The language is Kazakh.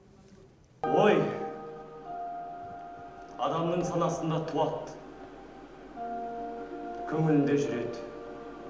ой адамның санасында туады көңілінде жүреді